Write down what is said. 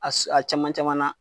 A a caman camanna.